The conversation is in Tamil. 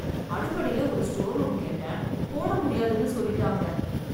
அடுப்படில ஒரு ஸ்டோர் ரூம் கேட்டேன். போடமுடியாதுனு சொல்லிட்டாங்க.